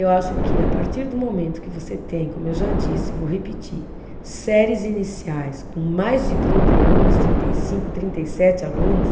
Eu acho que a partir do momento que você tem, como eu já disse, vou repetir, séries iniciais com mais de trinta alunos, trinta e cinco, trinta e sete alunos